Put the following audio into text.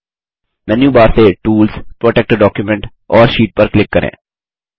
menu bar से tools protect document और sheet पर क्लिक करें